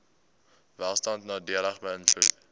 welstand nadelig beïnvloed